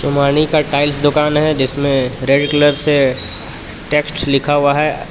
सोमानी का टाइल्स दुकान है जिसमें रेड कलर से टेक्स्ट लिखा हुआ है.